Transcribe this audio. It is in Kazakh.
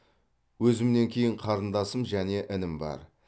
өзімнен кейін қарындасым және інім бар